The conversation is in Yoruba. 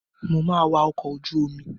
Mo máa wa ọkọ̀ ojú omi.